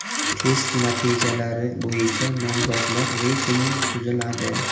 Test natijalari bo‘yicha nomzodlar reytingi tuziladi.